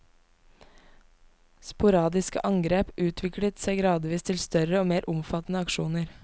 Sporadiske angrep utviklet seg gradvis til større og mer omfattende aksjoner.